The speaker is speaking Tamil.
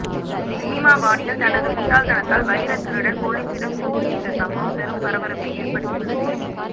சினிமா பாணியில் தனது முட்டாள்தனத்தால் வைரத்திருடன் போலீசிடம் சிக்கிய இந்த சம்பவம் பெரும் பரபரப்பை ஏற்படுத்தியுள்ளது